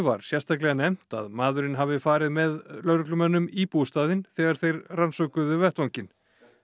var sérstaklega nefnt að maðurinn hafi farið með lögreglumönnum í bústaðinn þegar þeir rannsökuðu vettvanginn